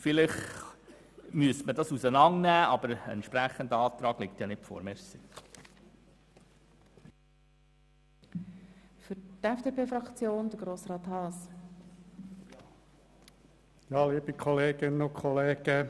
Vielleicht müsste man Sanierungen und Gesamtrenovationen auseinandernehmen, aber es liegt kein entsprechender Antrag vor.